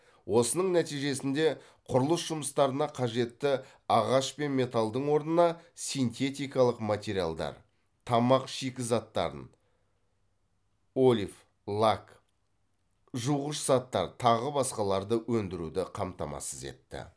осының нәтижесінде құрылыс жұмыстарына қажетті ағаш пен металдың орнына синтетикалық материалдар тамақ шикізаттарын олиф лак жуғыш заттар тағы басқаларды өндіруді қамтамасыз етті